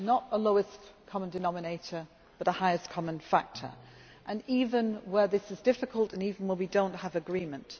not a lowest common denominator but a highest common factor, even where this is difficult and even where we do not have agreement.